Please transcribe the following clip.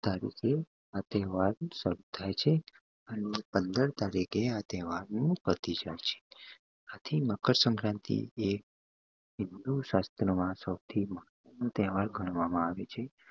ચૌદ તરીકે આ તેહવાર સારું થાય છે અને પંદર તરીકે આ તહેવારનું પતી જાય છે તેથી મકર સંક્રાંતિ એ હિંદુ શાસ્ત્ર માં સૌથી મહત્તવનું તહેવાર ગણવામાં આવે છે